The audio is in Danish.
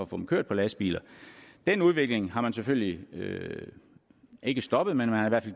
få dem kørt på lastbiler den udvikling har man selvfølgelig ikke stoppet men man har